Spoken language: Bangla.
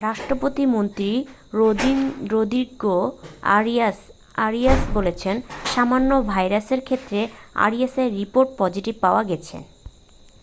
রাষ্ট্রপতির মন্ত্রী রদ্রিগো আরিয়াস আরিয়াস বলেছেন সামান্য ভাইরাসের ক্ষেত্রে আরিয়াসের রিপোর্ট পজিটিভ পাওয়া গেছে